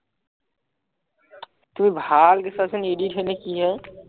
তুমি ভালকে চোৱাচোন edit হয়নে কি হয়